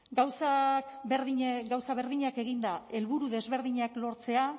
gauzak berdinak eginda helburu desberdinak lortzea